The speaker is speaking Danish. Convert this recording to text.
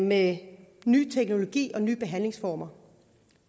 med ny teknologi og nye behandlingsformer